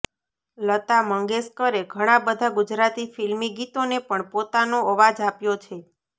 લતા મંગેશકરે ઘણા બધા ગુજરાતી ફિલ્મી ગીતોને પણ પોતાનો અવાજ આપ્યો છે